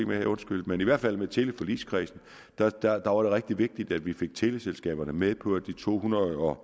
med undskyld men i hvert fald var teleforligskredsen rigtig vigtigt at vi fik teleselskaberne med på at de to hundrede og